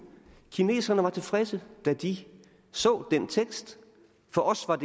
kineserne var tilfredse da de så den tekst for os var